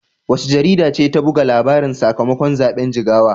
Wace jarida ce ta buga labarin sakamakon zaben Jigawa?